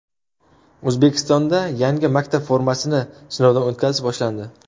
O‘zbekistonda yangi maktab formasini sinovdan o‘tkazish boshlandi.